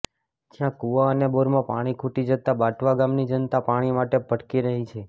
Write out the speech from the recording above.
જ્યા કુવા અને બોરમાં પાણી ખૂટી જતા બાંટવા ગામની જનતા પાણી માટે ભટકી રહી છે